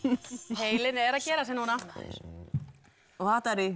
heilinn er að gera sig núna